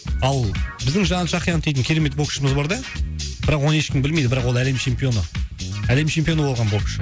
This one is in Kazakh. ал біздің жанат жақиянов дейтін керемет боксшымыз бар да бірақ оны ешкім білмейді бірақ ол әлем чемпионы әлем чемпионы болған боксшы